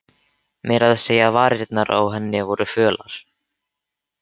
Meira að segja varirnar á henni voru fölar.